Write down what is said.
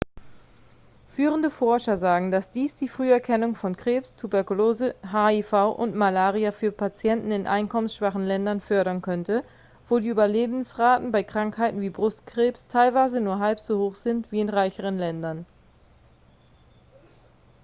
führende forscher sagen dass dies die früherkennung von krebs tuberkulose hiv und malaria für patienten in einkommensschwachen ländern fördern könnte wo die überlebensraten bei krankheiten wie brustkrebs teilweise nur halb so hoch sind wie in reicheren ländern